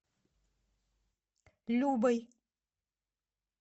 любой